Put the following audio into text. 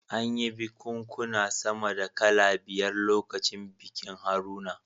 An yi bikunkuna sama da kala biyar lokacin bikin Haruna